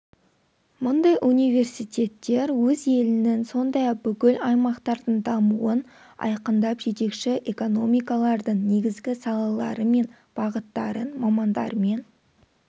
мұндай университеттер өз елінің сондай-ақ бүкіл аймақтардың дамуын айқындап жетекші экономикалардың негізгі салалары мен бағыттарын мамандармен